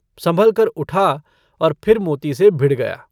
सँभलकर उठा और फिर मोती से भिड़ गया।